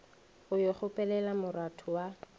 go yo kgopelela moratho wa